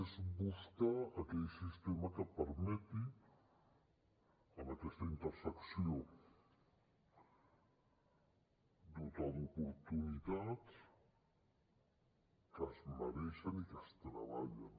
és buscar aquell sistema que permeti en aquesta intersecció dotar d’oportunitats que es mereixen i que es treballen